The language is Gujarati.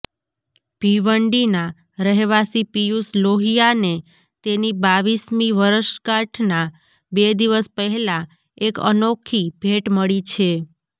ભિવંડીના રહેવાસી પીયૂષ લોહિયાને તેની બાવીસમી વરસગાંઠના બે દિવસ પહેલાં એક અનોખી ભેટ મળી છે